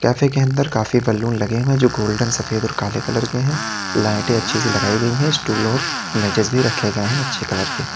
Cafe के अंदर काफी बैलून लगे हुए जो गोल्डन सफेद और काले कलर के हैं लाइटे अच्छी सी लगाई गई है स्टूल और मेज भी रखे गए हैं अच्छे कलर के।